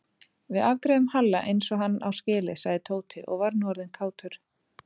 Við afgreiðum Halla eins og hann á skilið sagði Tóti og var nú orðinn kátur.